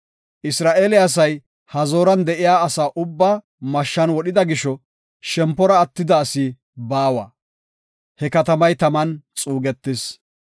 Isra7eele asay Hazooran de7iya asaa ubbaa mashshan wodhida gisho shempora attida asi baawa. He katamay taman xuugetis.